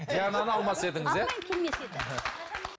диананы алмас едіңіз иә